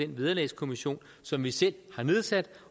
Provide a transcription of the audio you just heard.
vederlagskommissionen som vi selv har nedsat